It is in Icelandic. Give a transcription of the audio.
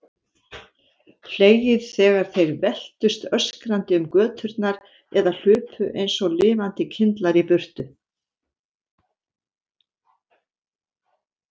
Hlegið þegar þeir veltust öskrandi um göturnar eða hlupu einsog lifandi kyndlar í burtu.